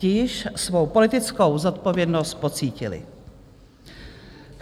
Ti již svou politickou zodpovědnost pocítili.